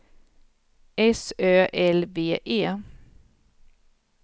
S Ö L V E